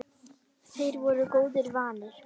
Þeir voru góðu vanir.